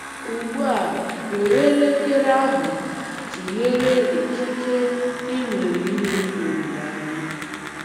Ugbu a, were elekere ahụ tụnyere ikike i nwere inwe olileanya.